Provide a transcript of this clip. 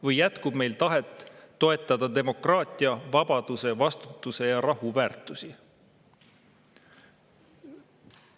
Või jätkub meil tahet toetada demokraatia, vabaduse, vastutuse ja rahu väärtusi?